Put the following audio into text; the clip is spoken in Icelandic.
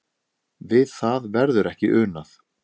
Við það verður ekki unað.